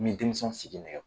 Min denmisɛnw sigi nɛgɛ